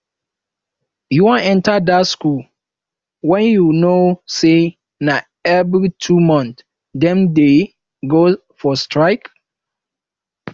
you wan enter dat school wen you know say na every two months dem dey go for strike